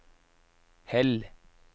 Hell